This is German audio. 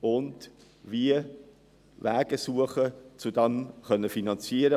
Dann können wir Wege suchen, um diese zu finanzieren.